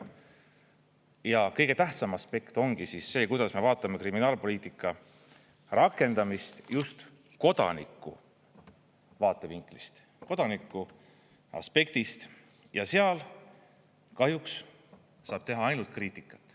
Ja kõige tähtsam aspekt ongi see, kuidas me vaatame kriminaalpoliitika rakendamist just kodaniku vaatevinklist, kodaniku aspektist, ja seal kahjuks saab teha ainult kriitikat.